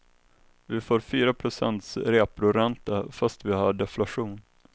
Vi får fyra procents reporänta fast vi har deflation.